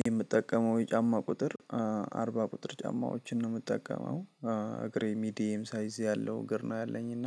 የምጠቀመው የጫማ ቁጥር አርባ ቁጥር ጫማዎችን ነው የምጠቀመው። እግሬ ሚዲየም ሳይዝ ያለው እግር ነው ያለኝ እና